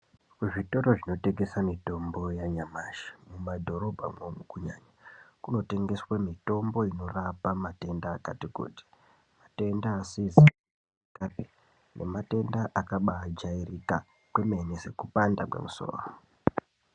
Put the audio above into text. Zvitoro zvinotengese mitombo yanyamashi mumadhorobhamwo kunyanya kunotengeswe mitombo inorapa matenda akati kuti matenda asizi kujairikapi nematenda akabajairika kwemene sekupanda kwemusoro.